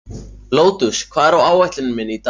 Lótus, hvað er á áætluninni minni í dag?